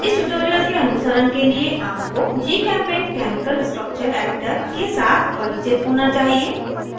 इस ट्यूटोरियल के अनुसरण के लिए आपको gchempaint केमिकल स्ट्रक्चर एडिटर के साथ परिचित होना चाहिए